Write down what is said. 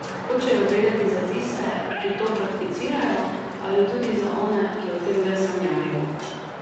Hočejo vedeti za tiste, ki to prakticirajo, ali tudi za one, ki o tem le sanjarijo?